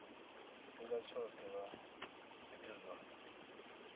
tshifhinga tshoṱhe vha ite zwa